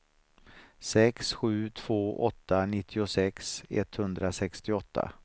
sex sju två åtta nittiosex etthundrasextioåtta